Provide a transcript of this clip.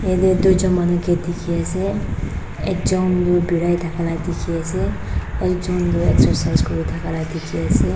yatheh duijun manu kae dekhe ase ekjun tuh berai thaka la dekhe ase ekjun tuh exercise kure thaka la dheke ase.